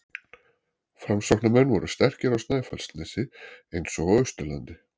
Framsóknarmenn voru sterkir á Snæfellsnesi eins og á Austurlandi.